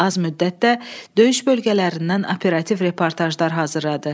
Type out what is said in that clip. Az müddətdə döyüş bölgələrindən operativ reportajlar hazırladı.